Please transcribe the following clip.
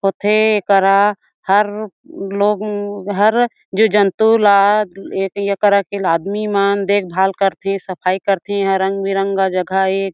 ओथे एकरा हर रूप लोग म्म हर जो जंतु लादए एकरा के आदमी मन देख-भाल करथे सफाई करथे यहाँ रंग बिरंगा जघा ए --